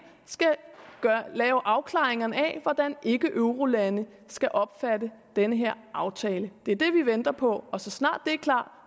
skal lave afklaringerne af hvordan ikkeeurolande skal opfatte den her aftale det er det vi venter på og så snart det er klart